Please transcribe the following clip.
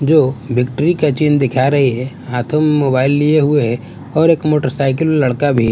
जो विक्टरी का चिन्न दिखा रही है हाथों में मोबाइल लिए हुए है और एक मोटरसाइकिल लड़का भी है।